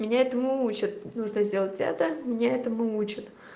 меня этому учат нужно сделать это меня этому учат